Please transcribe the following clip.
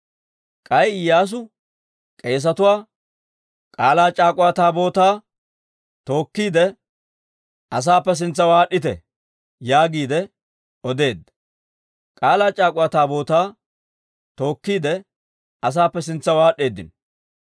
K'ay Iyyaasu k'eesetuwaa, «K'aalaa c'aak'uwa Taabootaa tookkiide, asaappe sintsaw aad'd'ite» yaagiide odeedda. K'aalaa c'aak'uwa Taabootaa tookkiide, asaappe sintsaw aad'd'eedino.